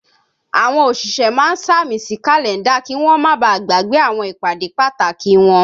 Àwọn òṣìṣẹ́ máa ń sàmì sí Kàlẹ́ndà kí wọ́n ma bàá gbàgbé àwọn ìpàdé pàtàkì wọn